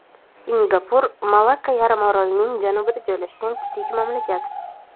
Singapur – Malakka yarim orolining janubida joylashgan kichik mamlakat.